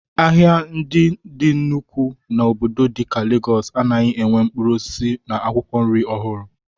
Ahịa ndị dị na nnukwu obodo dịka Legọọs anaghị enwe mkpụrụ osisi na akwụkwọ nri ọhụrụ